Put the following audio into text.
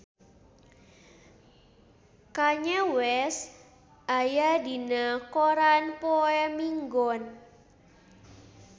Kanye West aya dina koran poe Minggon